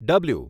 W